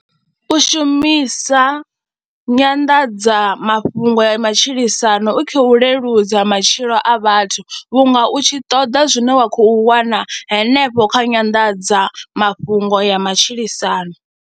u shumisa nyanḓadzamafhungo ya matshilisano i khou leludza matshilo a vhathu vhunga u tshi ṱoḓa zwine wa khou wana henefho kha nyanḓadza mafhungo ya matshilisano.